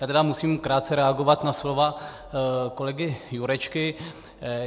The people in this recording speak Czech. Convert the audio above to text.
Já tedy musím krátce reagovat na slova kolegy Jurečky.